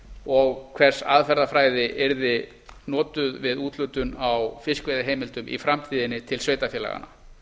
og hvers aðferðafræði yrði notuð við úthlutun á fiskveiðiheimildum í framtíðinni til sveitarfélaganna